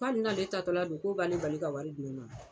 Ko hali n'ale taatɔ la don k'o b'ale bali ka wari di ne ma.